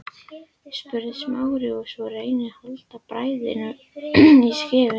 spurði Smári svo og reyndi að halda bræðinni í skefjum.